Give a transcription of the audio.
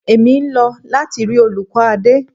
Èmi ń lọ láti rí olùkọ́ Adé.